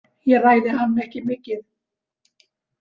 Ég ræði hann ekki mikið.